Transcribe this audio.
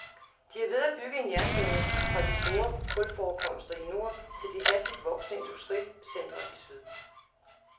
De er ved at bygge en jernbane fra de store kulforekomster i nord til de hastigt voksende industricentrene i syd.